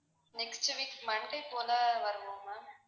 next week monday போல வருவோம் ma'am